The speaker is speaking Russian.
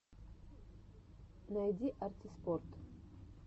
найди арти спорт